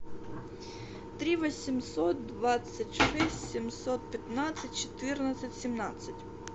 три восемьсот двадцать шесть семьсот пятнадцать четырнадцать семнадцать